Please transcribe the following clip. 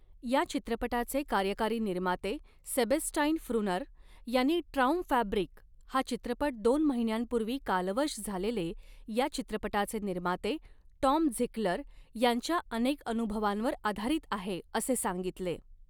या चित्रपटाचे कार्यकारी निर्माते सेबेस्टाईन फ्रूनर यांनी ट्रॉऊमफॅब्रिक हा चित्रपट दोन महिन्यांपूर्वी कालवश झालेले या चित्रपटाचे निर्माते टॉम झिकलर यांच्या अनेक अनुभवांवर आधारीत आहे, असे सांगितले.